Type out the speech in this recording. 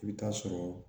I bɛ taa sɔrɔ